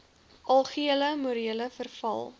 algehele morele verval